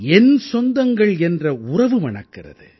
என் சொந்தங்கள் என்ற உறவு மணக்கிறது